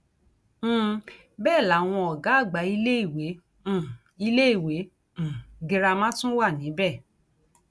um bẹẹ làwọn ọgá àgbà iléèwé um iléèwé um girama tún wà níbẹ